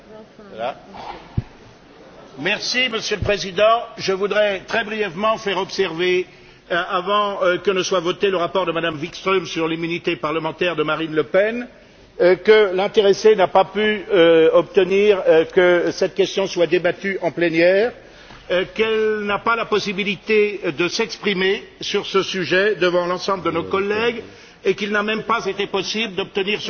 Monsieur le Président, je voudrais, très brièvement, faire observer, avant le vote sur le rapport de Mme Wikström sur l'immunité parlementaire de Marine Le Pen, que l'intéressée n'a pas pu obtenir que cette question soit débattue en plénière, qu'elle n'a pas la possibilité de s'exprimer à cet égard devant l'ensemble de nos collègues et qu'il n'a même pas été possible d'obtenir un vote nominal sur ce sujet, pour que chacun prenne ses responsabilités.